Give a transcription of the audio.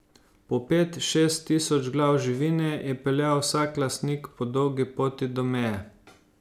Po pet, šest tisoč glav živine je peljal vsak lastnik po dolgi poti do meje.